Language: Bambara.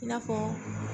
I n'a fɔ